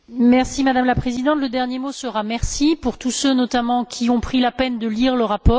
Madame la Présidente, le dernier mot sera un merci à tous ceux notamment qui ont pris la peine de lire le rapport.